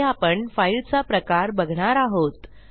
पुढे आपण फाईलचा प्रकार बघणार आहोत